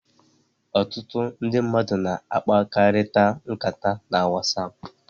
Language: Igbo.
Ọtụtụ ndi mmadu na-akpakalita nkata na Whatsapp.